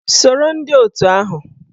Soro ndị otù ahụ!